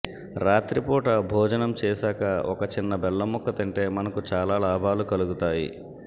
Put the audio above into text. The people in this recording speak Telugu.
రాత్రి పూట భోజనం చేశాక ఒక చిన్న బెల్లం ముక్క తింటే మనకు చాలా లాభాలు కలుగుతాయి